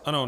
Ano.